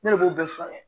Ne de b'o bɛɛ furakɛ